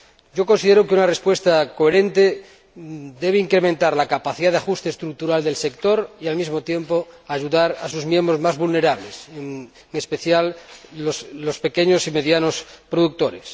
Yo considero que una respuesta coherente debe incrementar la capacidad de ajuste estructural del sector y, al mismo tiempo, ayudar a sus miembros más vulnerables, en especial los pequeños y medianos productores.